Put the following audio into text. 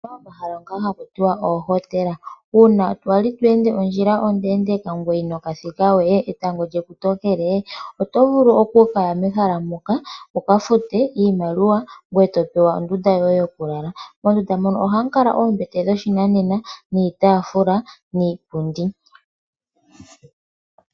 Opuna omahala ngoka haku tiwa oohotela. Uuna wa li to ende ondjila ondeendeeka ngoye inoka thikawe, oto vulu okuya mehala ndika wuka fute iimaliwa ngoye to pewa nduno ondunda yoye yokulala. Moondunda muno ohamu kala muna oombete dhoshinanena, niitaafula niipundi.